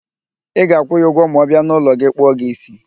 Ị ga-akwụ ya ụgwọ ma ọ bịa n'ụlọ gị kpụọ gị ísí